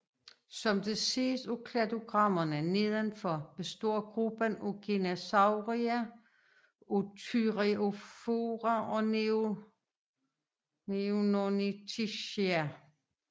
Som det ses af kladogrammerne nedenfor består gruppen Genasauria af Thyreophora og Neornithischia